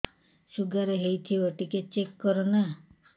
sugar ହେଇଥିବ ଟିକେ check କର ନା